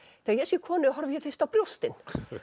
þegar ég sé konu horfi ég fyrst á brjóstin